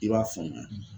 I b'a faamuya